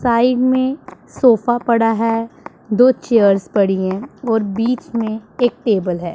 Side में sofa पड़ा है दो चेयर्स पड़ी है और बीच में एक टेबल है।